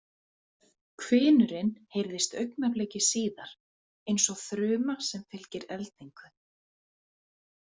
Hvinurinn heyrðist augnabliki síðar, eins og þruma sem fylgir eldingu.